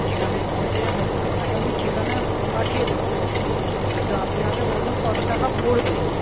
ঠিকানায় পৌঁছে যাবেন আপনাকে আমি ঠিকানা পাঠিয়ে দেব কিন্তু আপনি আগে বলুন কত টাকা পরবে?